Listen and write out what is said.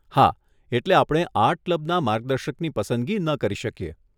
હા, એટલે આપણે આર્ટ ક્લબના મર્ગદર્શકની પસંદગી ન કરી શકીએ.